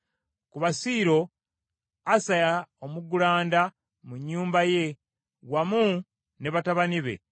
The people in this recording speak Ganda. Ku Basiiro, Asaya omuggulanda mu nnyumba ye, wamu ne batabani be.